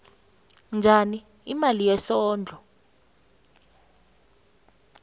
njani imali yesondlo